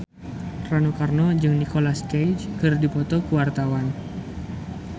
Rano Karno jeung Nicholas Cafe keur dipoto ku wartawan